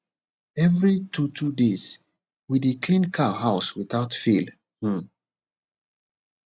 every two two days we dey clean cow house without fail um